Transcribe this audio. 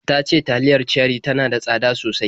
Ta ce taliyar Cherie tana da tsada sosai